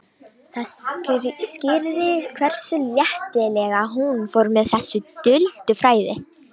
Það skýrði hversu léttilega hún fór með þessi duldu fræði.